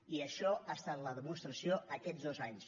i això ha estat la demostració aquests dos anys